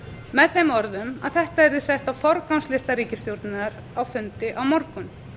með þeim orðum að þetta yrði sett á forgangslista ríkisstjórnar á fundi á morgun